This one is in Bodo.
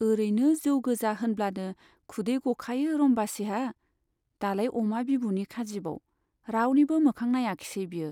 ओरैनो जौ गोजा होनब्लानो खुदै गखायो रम्बासीहा, दालाय अमा बिबुनि खाजिबाव, रावनिबो मोखां नाइयाखिसै बियो।